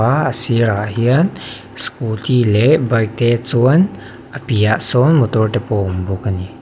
a a sir ah hian scooty leh bike te chuan a piah ah sawn motor te pawh a awm bawk a ni.